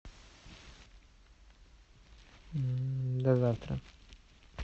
до завтра